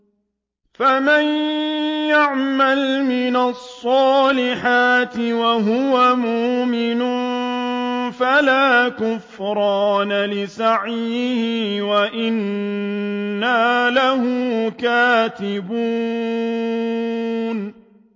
فَمَن يَعْمَلْ مِنَ الصَّالِحَاتِ وَهُوَ مُؤْمِنٌ فَلَا كُفْرَانَ لِسَعْيِهِ وَإِنَّا لَهُ كَاتِبُونَ